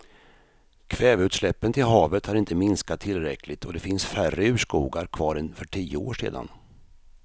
Kväveutsläppen till havet har inte minskat tillräckligt och det finns färre urskogar kvar än för tio år sedan.